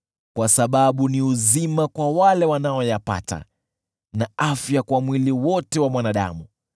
kwa sababu ni uzima kwa wale wanaoyapata na afya kwa mwili wote wa mwanadamu.